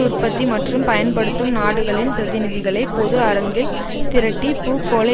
உற்பத்தி மற்றும் பயன்படுத்தும் நாடுகளின் பிரதிநிதிகளை பொது அரங்கில் திரட்டி பூகோள